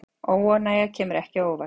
Óánægja kemur ekki á óvart